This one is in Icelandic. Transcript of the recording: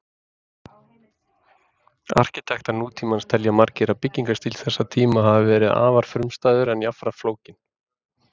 Arkitektar nútímans telja margir að byggingarstíll þessa tíma hafi verið afar frumstæður en jafnframt flókinn.